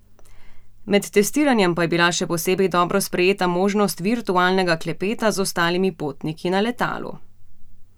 Med testiranjem pa je bila še posebej dobro sprejeta možnost virtualnega klepeta z ostalimi potniki na letalu.